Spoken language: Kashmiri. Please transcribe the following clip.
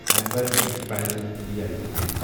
Amber enterprises India limited